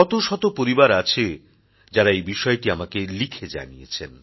শত শত পরিবার আছে যারা এই বিষয়টি আমাকে লিখে জানিয়েছেন